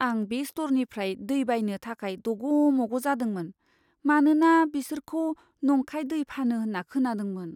आं बे स्ट'रनिफ्राय दै बायनो थाखाय दग' मग' जादोंमोन, मानोना बिसोरखौ नंखाय दै फानो होन्ना खोनादोंमोन।